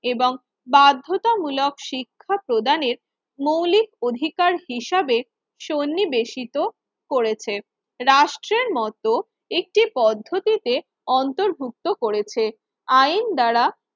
এবং বাধ্যতামূলক শিক্ষ প্রদানের মৌলিক অধিকার হিসেবে সন্নিবেশিত করেছে। রাষ্ট্রের মত একটি পদ্ধতিতে অন্তর্ভুক্ত করেছে আইন দ্বারা